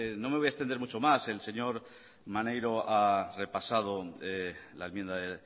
no me voy a extender mucho más el señor maneiro ha repasado la enmienda de